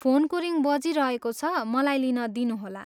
फोनको रिङ बजिरहेको छ, मलाई लिन दिनुहोला।